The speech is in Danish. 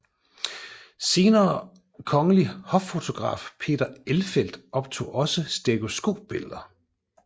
Senere kongelig hoffotograf Peter Elfelt optog også stereoskopbilleder